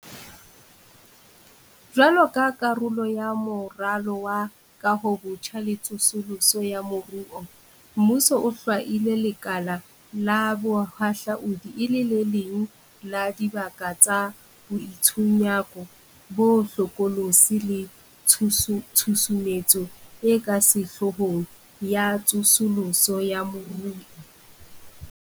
Jwaloka karolo ya Moralo wa Kahobotjha le Tsosoloso ya Moruo, mmuso o hlwaile lekala la bohahlaudi e le le leng la dibaka tsa boitshunyako bo hlokolosi le tshusumetso e ka sehloohong ya tsosoloso ya moruo.